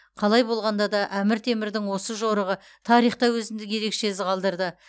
қалай болғанда да әмір темірдің осы жорығы тарихта өзіндік ерекше із қалдырды